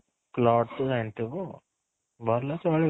ତ ଜାଣିଥିବୁ ଚଳିବ